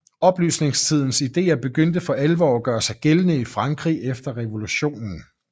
Oplysningstidens ideer begyndte for alvor at gøre sig gældende i Frankrig efter revolutionen